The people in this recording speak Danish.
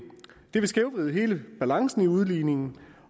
det vil skævvride hele balancen i udligningen